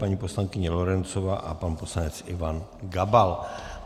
Paní poslankyně Lorencová a pan poslanec Ivan Gabal.